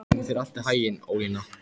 Gangi þér allt í haginn, Ólína.